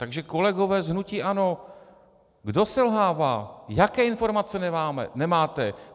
Takže kolegové z hnutí ANO, kdo selhává, jaké informace nemáte?